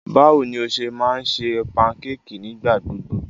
Báwo ni o ṣe máa ń ṣe pankéèkì nígbà gbogbo?